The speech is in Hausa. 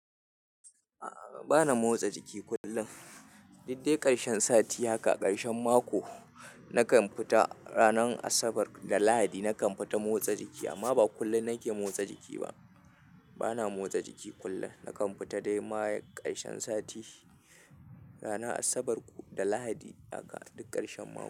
Bana motsa jiki kullum Diuk dai ƙarshen sati haka, karshen mako nakan fita ranar Asabar da Lahadi nakan fita motsa jiki amma ba kullum nake motsa jiki ba. Bana motsa jiki kullum, nakan fita dai ma karshen sati, ranar Asabar da Lahadi haka duk karshen mako.